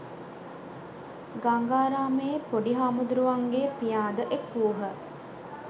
ගංගාරාමයේ පොඩි හාමුදුරුවන්ගේ පියා ද එක් වූහ